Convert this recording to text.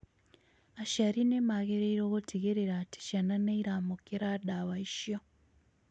Aciari nĩ magĩrĩirũo gũtigĩrĩra atĩ ciana nĩ iramũkĩra ndawa icio